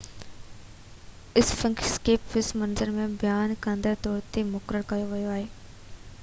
اسفنڪس کي پس منظر ۽ بيان ڪندڙ جي طور تي مقرر ڪيو ويو آهي